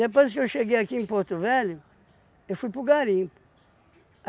que eu cheguei aqui em Porto Velho, eu fui para o garimpo.